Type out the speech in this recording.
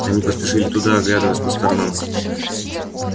они поспешили туда оглядываясь по сторонам